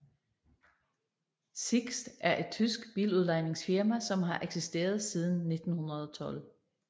SiXT er et tysk biludlejningsfirma som har eksisteret siden 1912